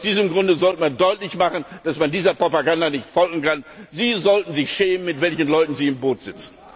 Und aus diesem Grunde sollte man deutlich machen, dass man dieser Propaganda nicht folgen kann. Sie sollten sich schämen, mit welchen Leuten Sie im Boot sitzen!